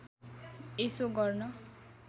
यसो गर्न